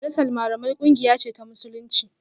Majalisar Malamai kungiya ce ta Musulunci